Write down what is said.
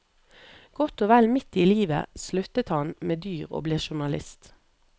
Godt og vel midt i livet sluttet han med dyr og ble journalist.